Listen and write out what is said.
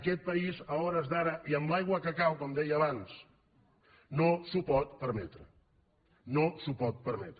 aquest país a hores d’ara i amb l’aigua que cau com deia abans no s’ho pot permetre no s’ho pot permetre